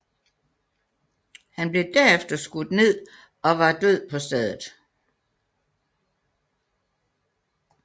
Han blev derefter skudt ned og var død på stedet